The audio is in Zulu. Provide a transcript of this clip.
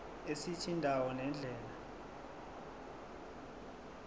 esithi indawo nendlela